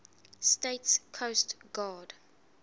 states coast guard